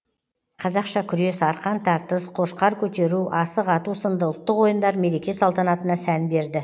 қазақша күрес арқан тартыс қошқар көтеру асық ату сынды ұлттық ойындар мереке салтанатына сән берді